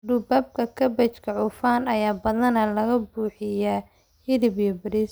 Duubabka kaabajka cufan ayaa badanaa laga buuxiyaa hilib iyo bariis.